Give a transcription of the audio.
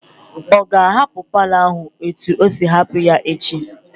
Ọ ga-ahapụ paalọ ahụ etu o siri hapụ ya echi?